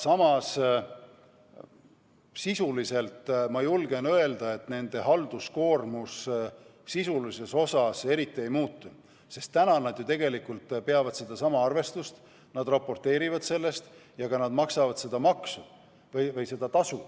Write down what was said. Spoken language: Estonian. Samas ma julgen öelda, et sisulises osas nende halduskoormus eriti ei muutu, sest tegelikult nad juba peavad sedasama arvestust, nad raporteerivad sellest ja maksavad ka seda maksu või seda tasu.